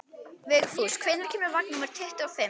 Vigfús, hvenær kemur vagn númer tuttugu og fimm?